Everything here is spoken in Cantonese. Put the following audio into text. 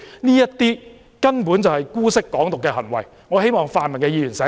這些根本就是姑息"港獨"的行為，我希望泛民議員清醒一下。